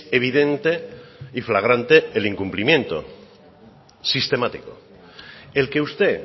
evidente y flagrante el incumplimiento sistemático el que usted